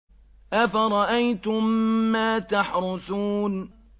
أَفَرَأَيْتُم مَّا تَحْرُثُونَ